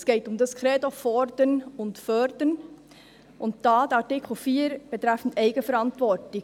Es geht um das Credo «Fordern und Fördern», und da ist dieser Artikel 4 betreffend Eigenverantwortung.